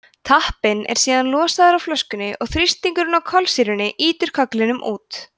tappinn er síðan losaður af flöskunni og þrýstingurinn á kolsýrunni ýtir kögglinum út